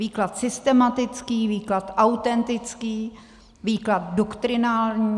Výklad systematický, výklad autentický, výklad doktrinální.